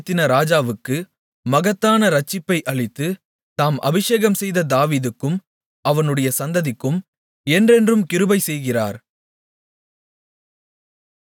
தாம் ஏற்படுத்தின ராஜாவுக்கு மகத்தான இரட்சிப்பை அளித்து தாம் அபிஷேகம்செய்த தாவீதுக்கும் அவனுடைய சந்ததிக்கும் என்றென்றும் கிருபை செய்கிறார்